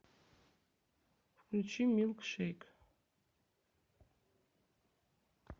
включи милкшейк